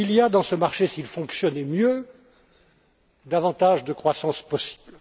Il y aurait, dans ce marché, s'il fonctionnait mieux, davantage de croissance possible.